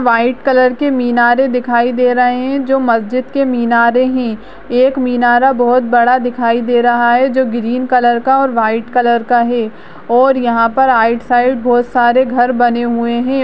White colour के मीनारे दिखाई दे रही है जो मस्जिद के मीनारे है एक मीनारा बहुत बड़ा दिखाई दे रहा है जो ग्रीन कलर का और वाइट कलर का है और यहाँ पर आइड साइड बहुत सारे घर बने हुए है।